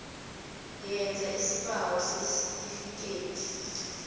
yenza isibawo sesitifikhethi